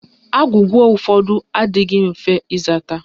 Agwụgwa ụfọdụ adịghị mfe ịzata